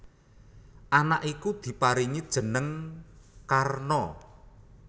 Anak iku diparingi jeneng Karna